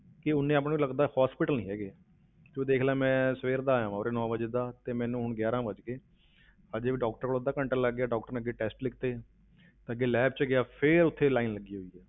ਕਿ ਉਨੇ ਆਪਾਂ ਨੂੰ ਲੱਗਦਾ hospital ਨੀ ਹੈਗੇ ਤੂੰ ਦੇਖ ਲਾ ਮੈਂ ਸਵੇਰ ਦਾ ਆਇਆਂ ਉਰੇ ਨੋਂ ਵਜੇ ਦਾ, ਤੇ ਮੈਨੂੰ ਹੁਣ ਗਿਆਰਾਂ ਵੱਜ ਗਏ ਹਜੇ ਵੀ doctor ਕੋਲ ਅੱਧਾ ਘੰਟਾ ਲੱਗ ਗਿਆ doctor ਨੇ ਅੱਗੇ test ਲਿਖ ਦਿੱਤੇ ਤਾਂ ਅੱਗੇ lab ਵਿੱਚ ਗਿਆ, ਫਿਰ ਉੱਥੇ line ਲੱਗੀ ਹੋਈ ਹੈ।